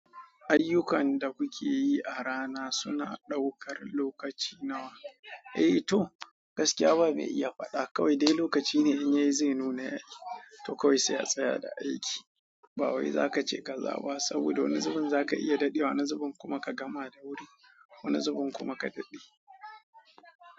Ayyukan da kuke yi a rana suna ɗaukar lokaci nawa? Eh to, gaskiya ba mai iya faɗa kawai dai lokaci ne in yayi zai nuna to kawai sai a tsaya da aiki. Ba wai za ka ce ka zaba saboda wani zubin za ka iya daɗewa, wani zubin kuma ka gama da wuri, wani zubin kuma ka daɗe.